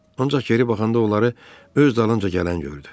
Ancaq geri baxanda onları öz dalınca gələn gördü.